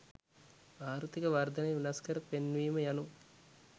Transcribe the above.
ආර්ථීක වර්ධනය වෙනස්කර පෙන්වීම යනු